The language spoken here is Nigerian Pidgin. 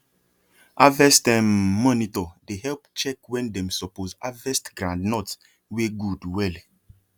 harvest um monitor dey help check when dem suppose harvest groundnut wey good well